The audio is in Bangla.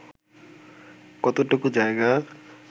কতটুকু জায়গা